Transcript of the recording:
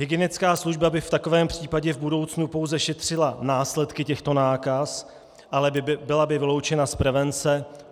Hygienická služba by v takovém případě v budoucnu pouze šetřila následky těchto nákaz, ale byla by vyloučena z prevence.